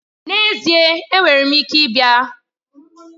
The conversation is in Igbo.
N'ezie! Enwere m ike ịbịa.